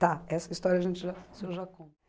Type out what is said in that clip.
Tá, essa história a gente já, o senhor já conta.